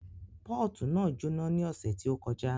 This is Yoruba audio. Pọ́ọ̀tù náà jóná ní ọ̀sẹ̀ tí ó kọjá